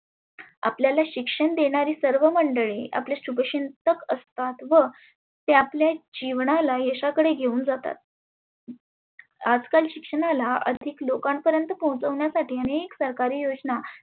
आपल्याला शिक्षण देणारी सर्व मंडळी आपले शुभचिंतक असतात व ते आपल्या जिवनाला यशाकडे घेऊन जातात. आज काल शिक्षणाला अधिक लोकां पर्यंत पोहचवण्यासाठी आनेक सरकारी योजना